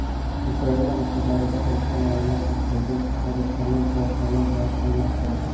Ukraina maktablarida o‘rta ma’lumot haqidagi shahodatnoma guvohnoma bilan almashtirildi.